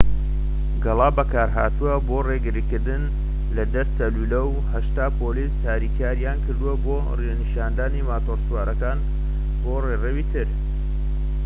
گەڵابە بەکارهاتووە بۆ ڕێگرتن لە دەرچەی لولەکە و ٨٠ پۆلیس هاریکاریان کرد بۆ ڕێنیشاندانی ماتۆرسوارەکان بۆ ڕێڕەوی تر